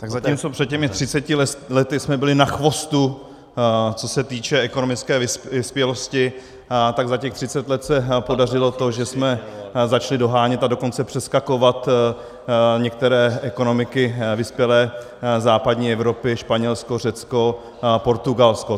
Tak zatímco před těmi třiceti lety jsme byli na chvostu, co se týče ekonomické vyspělosti, tak za těch třicet let se podařilo to, že jsme začali dohánět, a dokonce přeskakovat některé ekonomiky vyspělé západní Evropy - Španělsko, Řecko, Portugalsko.